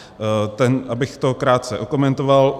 Abych to krátce okomentoval.